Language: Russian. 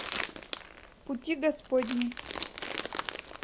пути господни